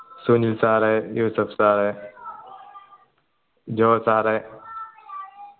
Sunil sir Yusuf sir Jo sir